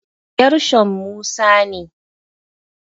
Gershom Musa ne.